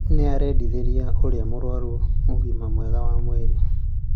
Nĩ arendithĩria ũrĩa mararũa nake ũgima mwega wa mwĩrĩ